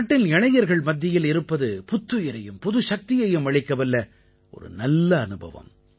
நாட்டின் இளைஞர்கள் மத்தியில் இருப்பது புத்துயிரையும் புதுச்சக்தியையும் அளிக்கவல்ல ஒரு நல்ல அனுபவம்